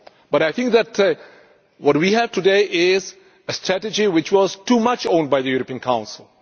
But what we have today is a Strategy which was too much owned by the European Council.